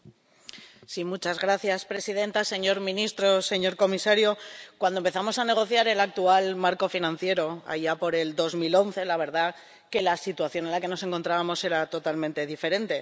Señora presidenta, señor ministro, señor comisario, cuando empezamos a negociar el actual marco financiero, allá por 2011, la verdad es que la situación en la que nos encontrábamos era totalmente diferente.